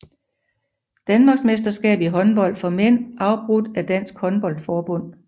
Danmarksmesterskab i håndbold for mænd afholdt af Dansk Håndbold Forbund